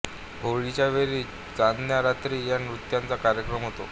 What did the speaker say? होळीच्या वेळी चांदण्या रात्री या नृत्याचा कार्यक्रम होतो